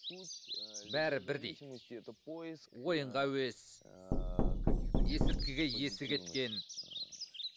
суть бәрі бірдей ойынға әуес есірткіге есі кеткен